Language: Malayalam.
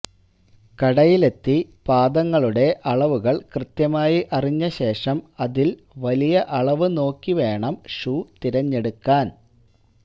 കടയിലെത്തി പാദങ്ങളുടെ അളവുകള് കൃത്യമായി അറിഞ്ഞ ശേഷം അതില് വലിയ അളവ് നോക്കി വേണം ഷൂ തിരഞ്ഞെടുക്കാന്